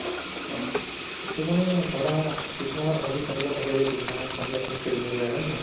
হয় তʼ মানে ধৰা কিছুমানৰ hobbies এনেকুৱা থাকে যে কিছুমানে সন্ধিয়া খোজ কাঢ়িব যায় হয় নে নহয়?